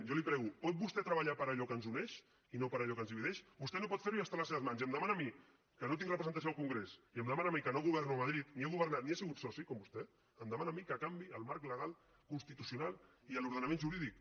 jo li ho prego pot vostè treballar per allò que ens uneix i no per allò que ens divideix vostè no pot fer ho i és a les seves mans i em demana a mi que no tinc representació al congrés i em demana a mi que no governo a madrid ni he governat ni he sigut soci com vostè em demana a mi que canviï el marc legal constitucional i l’ordenament jurídic